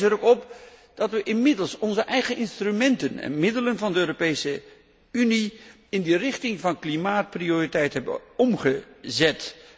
Ik wijs er ook op dat we inmiddels onze eigen instrumenten en middelen van de Europese Unie in de richting van klimaatprioriteit hebben omgezet.